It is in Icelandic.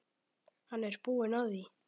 Hann er búinn að því.